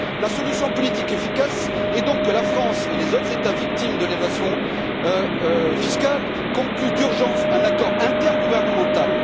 La solution politique efficace est donc que la France et les autres États victimes de l'évasion fiscale concluent d'urgence un accord intergouvernemental.